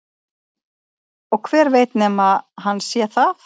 Og hver veit nema hann sé það?